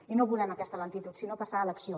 i no volem aquesta lentitud sinó passar a l’acció